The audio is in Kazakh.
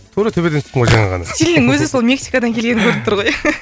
тура төбеден түстім ғой жаңа ғана стилінің өзі сол мексикадан келгені көрініп тұр ғой